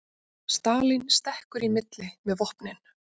Stalín stekkur í milli með vopnin